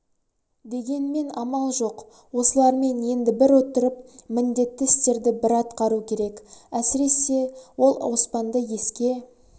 дегенмен амал жоқ осылармен енді бір отырып міндетті істерді бір атқару керек әсіресе ол оспанды еске